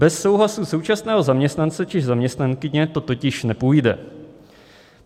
Bez souhlasu současného zaměstnance či zaměstnankyně to totiž nepůjde.